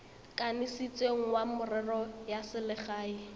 kanisitsweng wa merero ya selegae